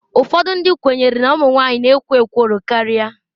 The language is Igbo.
Ụfọdụ ndị kwenyere na ụmụ nwanyị na-ekwo ekworo karịa.